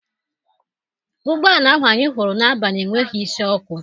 Ụgbọala ahụ anyị hụrụ n'abalị enweghị isi ọkụ.